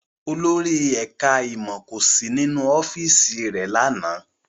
Olórí ẹ̀ká ìmọ̀ kò sí nínú ọ́fíìsì rẹ̀ lánàá